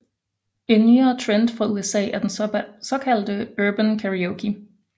En nyere trend fra USA er den såkaldte Urban Karaoke